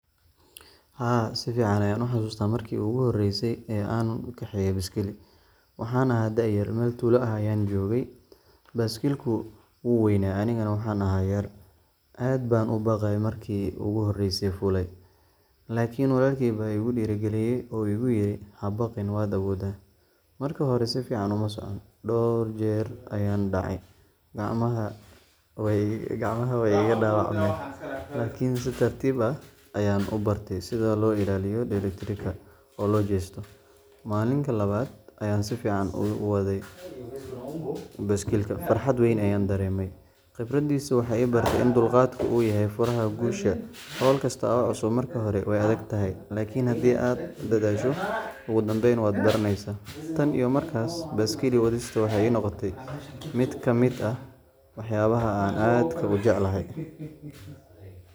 Haa, si fiican ayaan u xasuustaa markii ugu horreysay ee aan kaxeeyay baaskiil. Waxaan ahaa da’yar, meel tuulo ah ayaan joogay, baaskiilku wuu weynaa anigana waxaan ahaa yar. Aad baan u baqayay markaan markii ugu horreysay fuulay, laakiin walaalkay baa igu dhiirrigeliyay oo igu yidhi, “Ha baqin, waad awooddaa.” Markii hore si fiican uma socon, dhowr jeer ayaan dhacay, gacmahana way iga dhaawacmeen. Laakiin si tartiib ah ayaan u bartay sida loo ilaaliyo dheelitirka oo loo jeesto. Maalintii labaad ayaan si fiican u waday baaskiilka, farxad weyn ayaan dareemay. Khibraddaasi waxay i baray in dulqaadku uu yahay furaha guusha. Hawl kasta oo cusub marka hore way adag tahay, laakiin haddii aad dadaasho, ugu dambayn waad baranaysaa. Tan iyo markaas, baaskiil wadista waxay noqotay mid ka mid ah waxyaabaha aan aadka u jeclahay.